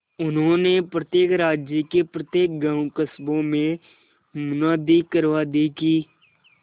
उन्होंने प्रत्येक राज्य के प्रत्येक गांवकस्बों में मुनादी करवा दी कि